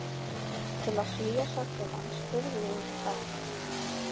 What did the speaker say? Til að svía sársaukann spurði ég útí hött